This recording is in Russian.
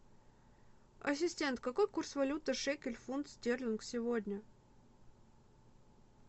ассистент какой курс валюты шекель фунт стерлинг сегодня